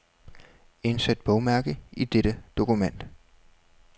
Indsæt bogmærke i dette dokument.